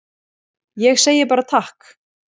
Ég segi bara takk.